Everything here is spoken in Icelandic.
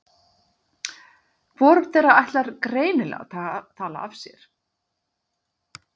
Hvorugt þeirra ætlar greinilega að tala af sér.